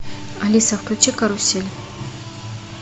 алиса включи карусель